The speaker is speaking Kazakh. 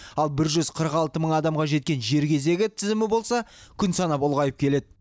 ал бір жүз қырық алты мың адамға жеткен жер кезегі тізімі болса күн санап ұлғайып келеді